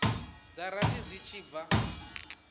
dza rathi zwi tshi bva